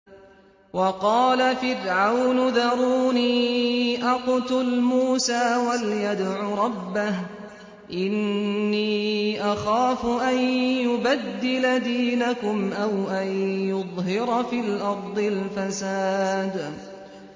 وَقَالَ فِرْعَوْنُ ذَرُونِي أَقْتُلْ مُوسَىٰ وَلْيَدْعُ رَبَّهُ ۖ إِنِّي أَخَافُ أَن يُبَدِّلَ دِينَكُمْ أَوْ أَن يُظْهِرَ فِي الْأَرْضِ الْفَسَادَ